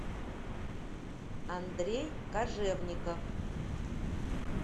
андрей кожевников